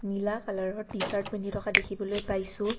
নীলা কালাৰৰ টি-চাৰ্ট পিন্ধি থকা দেখিবলৈ পাইছোঁ।